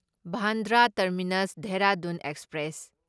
Bandra terminus Dehradun express